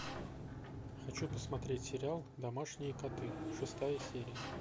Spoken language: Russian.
хочу посмотреть сериал домашние коты шестая серия